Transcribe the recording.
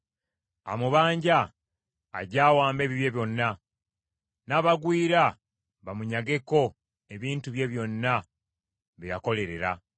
Amubanja ajje awambe ebibye byonna; n’abagwira bamunyageko ebintu bye byonna bye yakolerera.